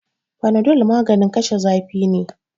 Panadol maganin kashe zafi ne.